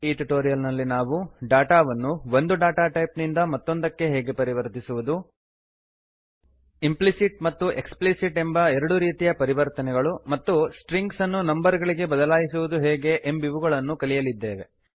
ಈ ಟ್ಯುಟೋರಿಯಲ್ ನಲ್ಲಿ ನಾವು data ಡೇಟಾವನ್ನು ಒಂದು ಡಾಟಾ ಟೈಪ್ ಡೇಟಾ ಟೈಪ್ ನಿಂದ ಮತ್ತೊಂದಕ್ಕೆ ಹೇಗೆ ಪರಿವರ್ತಿಸುವುದು ಇಂಪ್ಲಿಸಿಟ್ ಮತ್ತು ಎಕ್ಸ್ಪ್ಲಿಸಿಟ್ ಎಂಬ ಎರಡು ರೀತಿಯ ಪರಿವರ್ತನೆಗಳು ಮತ್ತು ಸ್ಟ್ರಿಂಗ್ಸನ್ನು ನಂಬರ್ ಗಳಿಗೆ ಬದಲಾಯಿಸುವುದು ಹೇಗೆ ಎಂಬಿವುಗಳನ್ನು ಕಲಿಯಲಿದ್ದೇವೆ